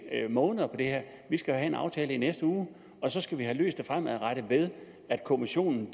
måneder på det her vi skal have en aftale i næste uge og så skal vi have løst det fremadrettet ved at kommissionen